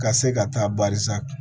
Ka se ka taa barisa